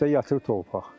Qışda yatır torpaq.